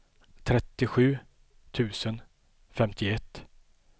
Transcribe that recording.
trettiosju tusen femtioett